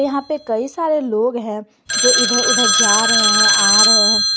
यहां पे कई सारे लोग हैं जो इधर उधर जा रहे हैं आ रहे हैं।